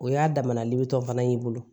O y'a damana liban fana y'i bolo